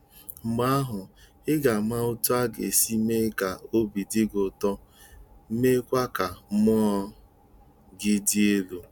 Mgbe ahụ, ị ga-ama otú ọ ga-esi mee ka obi dị gị ụtọ, meekwa ka mmụọ gị dị elu